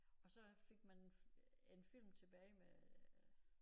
Og så fik man øh en film tilbage med